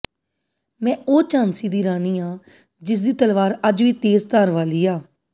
ਮੈ ੳਹ ਝਾਂਸੀ ਦੀ ਰਾਣੀ ਆਂ ਜਿਸਦੀ ਤਲਵਾਰ ਅੱਜ ਵੀ ਤੇਜ ਧਾਰ ਵਾਲੀ ਆਂ